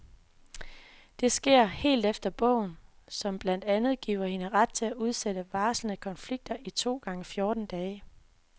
Det sker helt efter bogen, som blandt andet giver hende ret til at udsætte varslede konflikter i to gange fjorten dage.